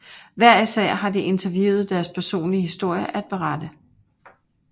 Hver især har de interviewede deres personlige historie at berette